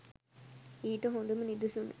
ඊට හොඳම නිදසුන